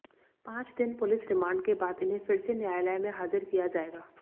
पांच दिन police remand के बाद इन्हें फिर से न्यायालय में हाजिर किया जाएगा